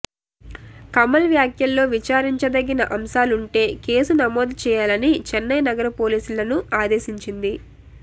కమల్ వ్యాఖ్యల్లో విచారించదగిన అంశాలుంటే కేసు నమోదు చేయాలని చైన్నై నగర పోలీసులను ఆదేశించింది